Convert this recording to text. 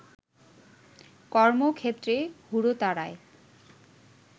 কর্মক্ষেত্রে হুড়োতাড়ায়